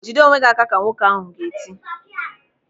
"Jide onwe gị aka", ka nwoke ahụ ga-eti.